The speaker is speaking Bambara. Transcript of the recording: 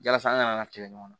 Yasa an kana kɛlɛ ɲɔgɔn na